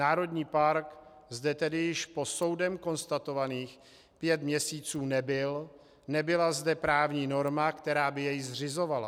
Národní park zde tedy již po soudem konstatovaných pět měsíců nebyl, nebyla zde právní norma, která by jej zřizovala.